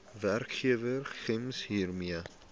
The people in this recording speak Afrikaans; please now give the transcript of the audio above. werkgewer gems hiermee